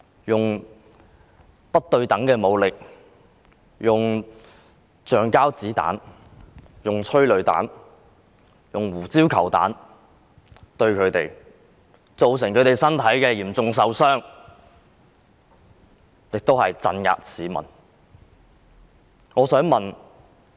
用不對等的武力，用橡膠子彈、催淚彈、胡椒球彈對待他們，造成他們身體嚴重受傷，以及鎮壓市民。